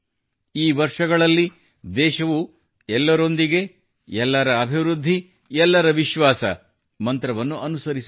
ಈ ವರ್ಷಗಳಲ್ಲಿ ದೇಶವು ಎಲ್ಲರೊಂದಿಗೆ ಎಲ್ಲರ ಅಭಿವೃದ್ಧಿ ಎಲ್ಲರವಿಶ್ವಾಸ ಮಂತ್ರವನ್ನು ಅನುಸರಿಸುತ್ತಿದೆ